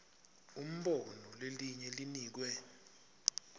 umbono lelinye linikwe